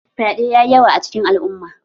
Fyaɗe yayi yawa a cikin al'umma